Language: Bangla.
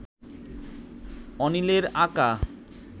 অনিলের আঁকা